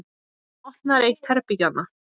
Hún opnar eitt herbergjanna.